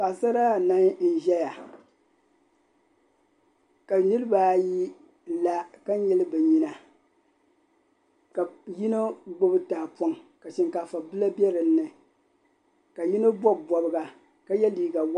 Saɣisara anahi n-zaya ka niriba ayi la ka nyili bɛ nyina ka yino gbibi tahapɔŋ ka shinkaafabila be dinni ka yino bɔbi bɔbiga ka ye liiga waɣinli.